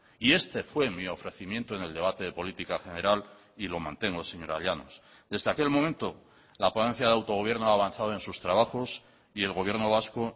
y este fue mi ofrecimiento en el debate de política general y lo mantengo señora llanos desde aquel momento la ponencia de autogobierno ha avanzado en sus trabajos y el gobierno vasco